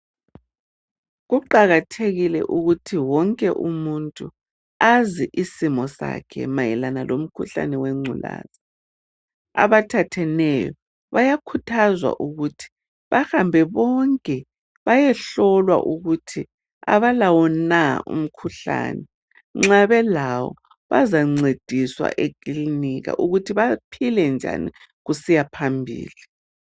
Kuqakathekile ukuthi wonke umuntu azi isimo sakhe mayelana lomkhuhlane wengculazi, abathatheneyo bayakhuthazwa ukuthi bahambe bonke bayehlolwa ukuthi abalawo na umkhuhlane ?.Nxa belawo, bazancediswa ekilinika ukuthi baphile njani kusiyaphambili.